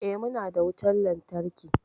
Eh, muna da wutan lantarki.